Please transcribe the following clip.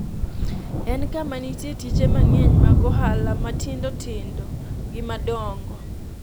en kama nitie tije mang’eny mag ohala matindotindo gi madongo,